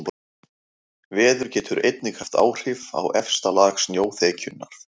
Veður getur einnig haft áhrif á efsta lag snjóþekjunnar.